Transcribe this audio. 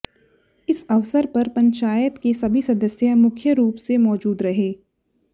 इस अवसर पर पंचायत के सभी सदस्य मुख्य रूप से मौजूद रहे